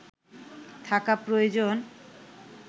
থাকা প্রয়োজন